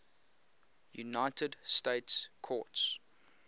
united states courts